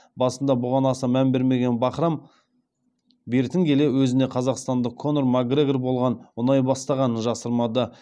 басында бұған аса мән бермеген бахрам бертін келе өзіне қазақстандық конор макгрегор болған ұнай бастағанын жасырмады